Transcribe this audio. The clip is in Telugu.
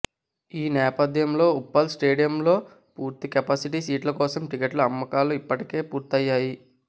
ఈ నేపథ్యంలో ఉప్పల్ స్టేడియంలో పూర్తి కెపాసిటీ సీట్ల కోసం టికెట్ల అమ్మకాలు ఇప్పటికే పూర్తయ్యాయి